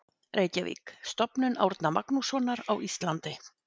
Reykjavík: Stofnun Árna Magnússonar á Íslandi.